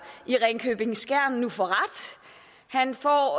i ringkøbing skjern nu får ret han får